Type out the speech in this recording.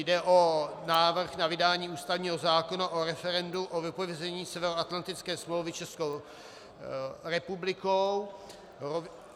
Jde o návrh na vydání ústavního zákona o referendu o vypovězení Severoatlantické smlouvy Českou republikou.